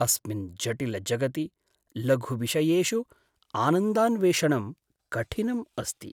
अस्मिन् जटिलजगति लघुविषयेषु आनन्दान्वेषणं कठिनम् अस्ति।